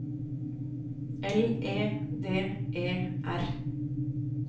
L E D E R